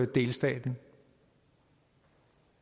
delstaten